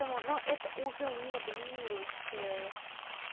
этому но это уже не доминирующая